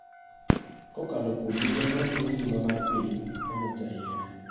Kokalo kuom migao ma rito ngima mar piny (NHIF).